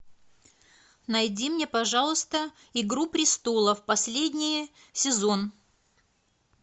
найди мне пожалуйста игру престолов последний сезон